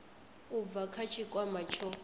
u bva kha tshikwama tsho